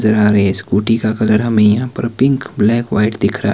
scooty का colour हमें यहां पर पिंक ब्लैक व्हाइट दिख रहा--